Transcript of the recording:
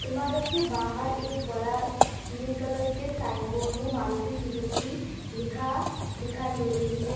इमारत के बाहर एक बड़ा नील कलर के साइन बोर्ड में मारुति सुजुकी लिखा दिखाई दे रही है।